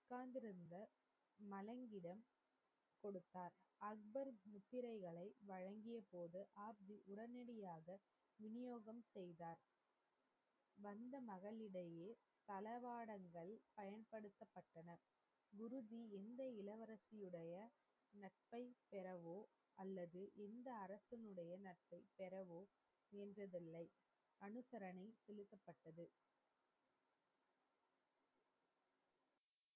தளவாட,